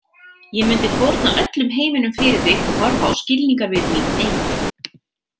Ég mundi fórna öllum heiminum fyrir þig og horfa á skilningarvit mín deyja.